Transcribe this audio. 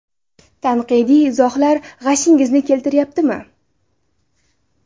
Tanqidiy izohlar g‘ashingizni keltirmayaptimi?